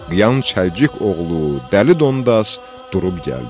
Qıyan Çəlçik oğlu Dəli Dondas durub gəldi.